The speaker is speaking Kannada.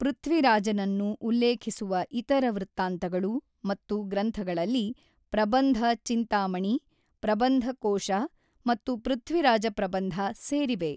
ಪೃಥ್ವಿರಾಜನನ್ನು ಉಲ್ಲೇಖಿಸುವ ಇತರ ವೃತ್ತಾಂತಗಳು ಮತ್ತು ಗ್ರಂಥಗಳಲ್ಲಿ ಪ್ರಬಂಧ-ಚಿಂತಾಮಣಿ, ಪ್ರಬಂಧ ಕೋಶ ಮತ್ತು ಪೃಥ್ವಿರಾಜ ಪ್ರಬಂಧ ಸೇರಿವೆ.